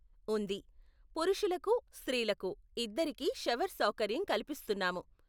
ఉంది, పురుషలకు, స్త్రీలకూ ఇద్దరికీ షవర్ సౌకర్యం కల్పిస్తున్నాము.